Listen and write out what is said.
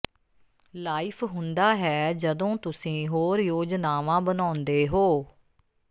life ਹੁੰਦਾ ਹੈ ਜਦੋਂ ਤੁਸੀਂ ਹੋਰ ਯੋਜਨਾਵਾਂ ਬਣਾਉਂਦੇ ਹੋ